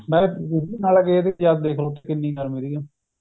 ਉਥੇ ਕਿੰਨੀ ਗਰਮੀ ਤਿੱਗੀ